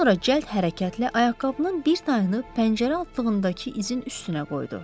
Sonra cəld hərəkətlə ayaqqabının bir tayını pəncərə altındakı izi üstünə qoydu.